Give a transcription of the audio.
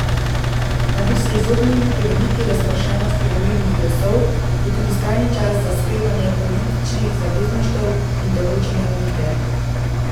Da bi se izognili preveliki razpršenosti volilnih glasov, je tudi skrajni čas za sklepanje političnih zavezništev in določene umike.